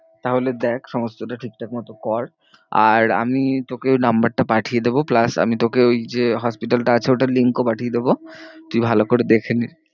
তাহলে দেখ সমস্তটা ঠিক ঠাক মতো কর। আর আমি তোকে ওর number টা পাঠিয়ে দেবো plus আমি তোকে ওই যে hospital টা আছে ওটার link ও পাঠিয়ে দেবো। তুই ভালো করে দেখে নে।